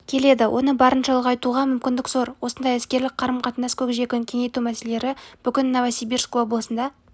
келеді оны барынша ұлғайтуға мүмкіндік зор осындай іскерлік қарым-қатынас көкжиегін кеңейту мәселелері бүгін новосибирск облысында